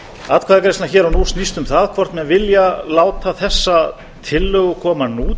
sveitarstjórnarkosningum atkvæðagreiðslan hér og nú snýst um það hvort menn vilja láta þessa tillögu koma nú